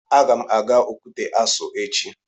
Aga m aga Okwute Aso echi